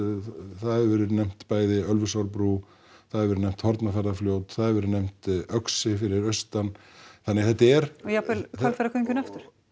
það hefur verið nefnt bæði Ölfusárbrú það hefur verið nefnt það hefur verið nefnt Öxi fyrir austan þannig þetta er og jafnvel Hvalfjarðargöngin aftur og